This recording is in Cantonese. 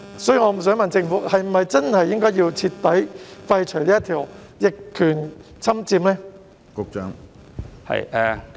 所以，我想問政府是否應該徹底廢除逆權管有條文呢？